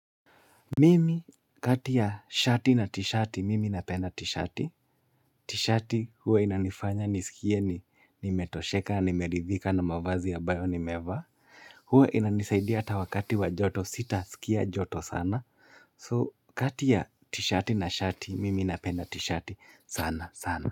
Mimi kati ya shati na tishati, mimi napenda tishati. Tishati huwa inanifanya nisikie ni metosheka, nimeridhika na mavazi ya abayo ni nimevaa. Huwa inanisaidia ata wakati wa joto sita, sikia joto sana. So kati ya tishati na shati, mimi napenda tishati sana sana.